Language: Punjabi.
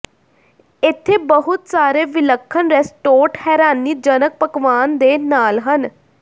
ਇੱਥੇ ਬਹੁਤ ਸਾਰੇ ਵਿਲੱਖਣ ਰੈਸਟੋਰਟ ਹੈਰਾਨੀਜਨਕ ਪਕਵਾਨ ਦੇ ਨਾਲ ਹਨ